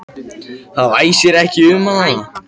Það væsir ekki um hann þarna.